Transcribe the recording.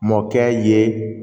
Mɔkɛ ye